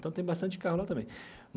Então, tem bastante carro lá também.